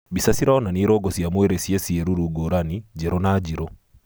Mbica cĩronania ĩrũngo cia mwĩrĩ cie cĩeruru ngũrani njerũ na njĩrũ.